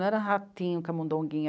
Não era ratinho, camundonguinho.